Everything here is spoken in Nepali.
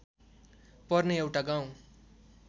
पर्ने एउटा गाउँ